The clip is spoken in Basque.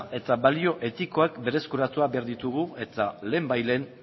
eta balio etikoak berreskuratu behar ditugu eta lehen bai lehen